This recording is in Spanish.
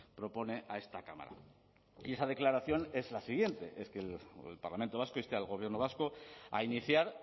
propone a esta cámara y esa declaración es la siguiente es que el parlamento vasco inste al gobierno vasco a iniciar